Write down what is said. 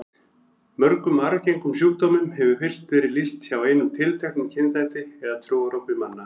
Mörgum arfgengum sjúkdómum hefur fyrst verið lýst hjá einum tilteknum kynþætti eða trúarhópi manna.